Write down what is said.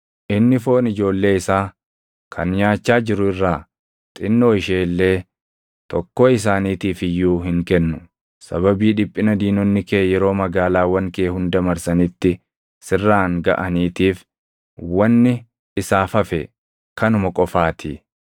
inni foon ijoollee isaa kan nyaachaa jiru irraa xinnoo ishee illee tokkoo isaaniitiif iyyuu hin kennu. Sababii dhiphina diinonni kee yeroo magaalaawwan kee hunda marsanitti sirraan gaʼaniitiif wanni isaaf hafe kanuma qofaatii.